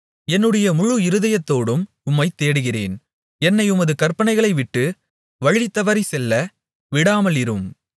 என்னுடைய முழு இருதயத்தோடும் உம்மைத் தேடுகிறேன் என்னை உமது கற்பனைகளைவிட்டு வழிதவறிச் செல்ல விடாமலிரும்